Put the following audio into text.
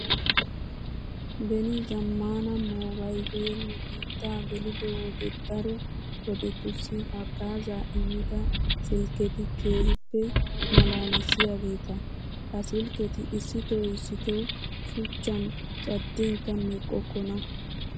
Beni zammaana moobaylee nu biittaa gelido wode daro wodetussi haggaazaa immida silkketi keehippe maalaalissiyageeta. Ha silkketi issitoo issitoo shuchchan caddinkka meqqokkona.